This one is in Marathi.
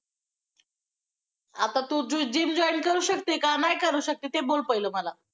आता तू ~ते gym join करू शकते, का नाही करू शकते? ते बोल पहिलं मला!